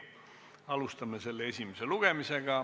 Alustame selle esimest lugemist.